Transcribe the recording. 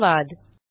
धन्यवाद